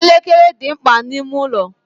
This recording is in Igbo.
Elekere dị mkpa n'ime ụlọ.